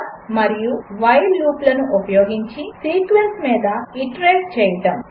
for మరియు while లూపులను ఉపయోగించి సీక్వెన్స్ మీద ఐటరేట్ చేయడం